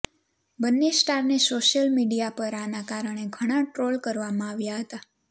બંને સ્ટારને social media પર આના કારણે ઘણાં ટ્રોલ કરવામાં આવ્યા હતા